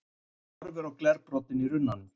Horfir á glerbrotin í runnunum.